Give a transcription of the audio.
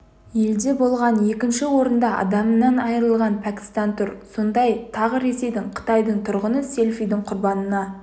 елде болған екінші орында адамынан айырылған пәкістан тұр сондай тағы ресейдің қытайдың тұрғыны селфидің құрбанына